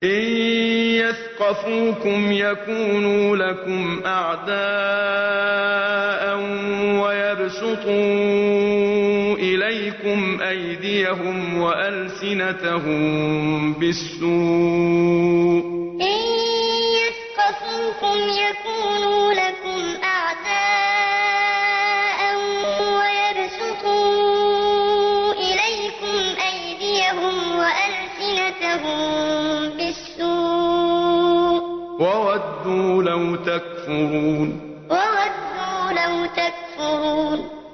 إِن يَثْقَفُوكُمْ يَكُونُوا لَكُمْ أَعْدَاءً وَيَبْسُطُوا إِلَيْكُمْ أَيْدِيَهُمْ وَأَلْسِنَتَهُم بِالسُّوءِ وَوَدُّوا لَوْ تَكْفُرُونَ إِن يَثْقَفُوكُمْ يَكُونُوا لَكُمْ أَعْدَاءً وَيَبْسُطُوا إِلَيْكُمْ أَيْدِيَهُمْ وَأَلْسِنَتَهُم بِالسُّوءِ وَوَدُّوا لَوْ تَكْفُرُونَ